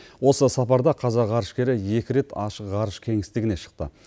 осы сапарда қазақ ғарышкері екі рет ашық ғарыш кеңістігіне шықты